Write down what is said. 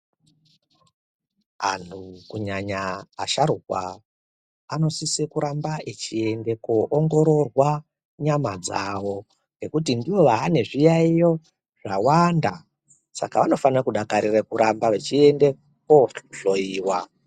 Anhu kunyanya asharukwa anosise kuramba echiende koongororwa nyama dzawo ngekuti ndiwo aane zviyaiyo zvawanda saka anofane kudakarire kuramba vachiende kohloiwa.